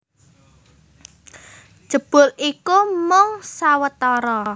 Jebul iku mung sawetara